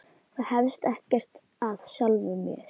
Það hefst ekkert af sjálfu sér.